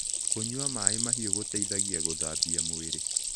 Kũnyua maĩĩ mahĩũ gũteĩthagĩa gũthambĩa mwĩrĩ